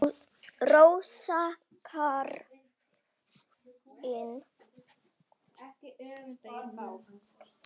Rósa Karin.